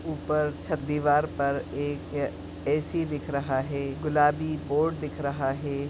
उपर छत दीवार पर एक ऐ_सी दिख रहा है गुलाबी बोर्ड दिख रहा है।